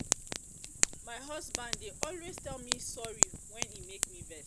my husband dey dey always tell me sorry wen e make me vex